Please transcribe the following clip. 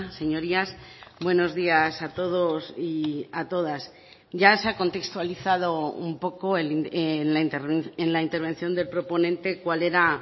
señorías buenos días a todos y a todas ya se ha contextualizado un poco en la intervención del proponente cuál era